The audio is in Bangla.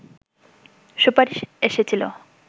সুপারিশ এসেছিল